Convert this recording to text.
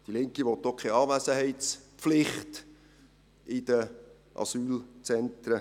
Die Linke will auch keine Anwesenheitspflicht in den Asylzentren.